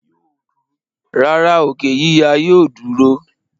rárá, òkè yíya yóò dúró.